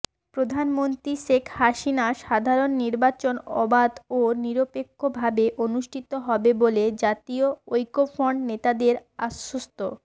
প্রধানমন্ত্রী শেখ হাসিনা সাধারণ নির্বাচন অবাধ ও নিরপেক্ষভাবে অনুষ্ঠিত হবে বলে জাতীয় ঐক্যফ্রন্ট নেতাদের আশ্বস্ত